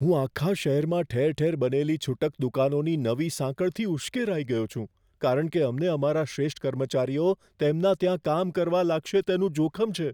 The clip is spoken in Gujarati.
હું આખા શહેરમાં ઠેર ઠેર બનેલી છૂટક દુકાનોની નવી સાંકળથી ઉશ્કેરાઈ ગયો છું, કારણ કે અમને અમારા શ્રેષ્ઠ કર્મચારીઓ તેમના ત્યાં કામ કરવા લાગશે, તેનું જોખમ છે.